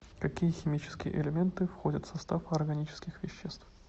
какие химические элементы входят в состав органических веществ